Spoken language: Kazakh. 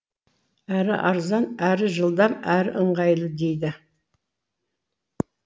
әрі арзан әрі жылдам әрі ыңғайлы дейді